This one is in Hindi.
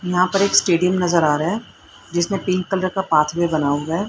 यहां पर एक स्टेडियम नजर आ रहा है जिसमें पिंक कलर का बना हुआ है।